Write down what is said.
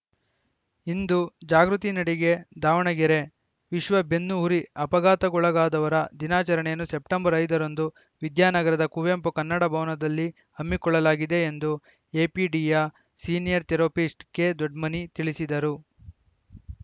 ಇಂದು ಜಾಗೃತಿ ನಡಿಗೆ ದಾವಣಗೆರೆ ವಿಶ್ವ ಬೆನ್ನು ಹುರಿ ಅಪಘಾತಕ್ಕೊಳಗಾದವರ ದಿನಾಚರಣೆಯನ್ನು ಸೆಪ್ಟೆಂಬರ್ ಐದರಂದು ವಿದ್ಯಾನಗರದ ಕುವೆಂಪು ಕನ್ನಡ ಭವನದಲ್ಲಿ ಹಮ್ಮಿಕೊಳ್ಳಲಾಗಿದೆ ಎಂದು ಎಪಿಡಿಯ ಸೀನಿಯರ್‌ ಥೆರೋಪಿಸ್ಟ್‌ ಕೆದೊಡ್ಮನಿ ತಿಳಿಸಿದರು